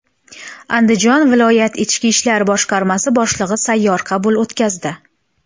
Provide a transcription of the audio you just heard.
Andijon viloyat ichki ishlar boshqarmasi boshlig‘i sayyor qabul o‘tkazdi.